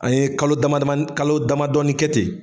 An ye kalo dama damanin kalo damamadɔ kɛ ten.